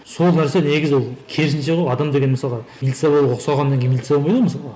сол нәрсе негізі ол керісінше ғой адам деген мысалға милиция болуға ұқсағаннан кейін милиция болмайды ғой мысалға